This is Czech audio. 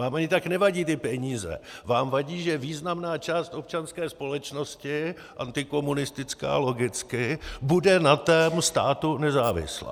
Vám ani tak nevadí ty peníze, vám vadí, že významná část občanské společnosti, antikomunistická logicky, bude na tom státu nezávislá.